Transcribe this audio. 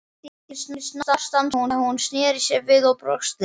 Allt í einu snarstansaði hún, snéri sér við og brosti.